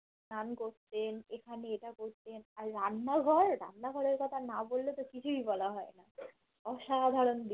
স্নান করতেন এখানে এটা করতেন আর রান্না ঘর রান্না ঘরের কথা না বল্লেতো কিছুই বলা হয় না অসাধারণ